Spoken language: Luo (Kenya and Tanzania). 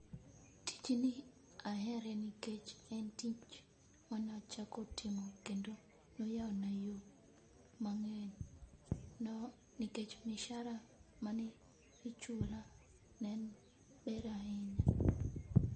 Tijni ahere nikech ne en tich mana chako timo kendo noyawona yo mang'eny nikech misara manichula ne ber ahinya.